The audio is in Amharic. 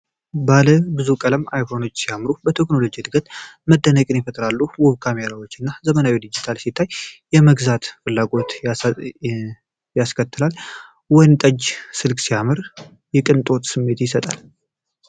ባለብዙ ቀለም አይፎኖች ሲያምሩ፣ በቴክኖሎጂው እድገት መደነቅን ይፈጥራሉ። ውብ ካሜራዎቻቸው እና ዘመናዊ ዲዛይናቸው ሲታይ፣ የመግዛት ፍላጎት ያስከትላል። ወይንጠጁ ስልክ ሲያምር፣ የቅንጦት ስሜትን ይሰጣል።